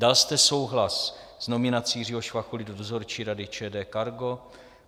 Dal jste souhlas s nominací Jiřího Švachuly do dozorčí rady ČD Cargo?